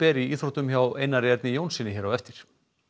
í íþróttum hjá Einari Erni Jónssyni hér á eftir